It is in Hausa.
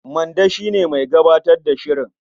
Mande shi ne mai gabatar da shirin.